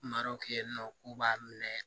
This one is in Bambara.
Marɔkɛ yen nɔ k'u b'a minɛ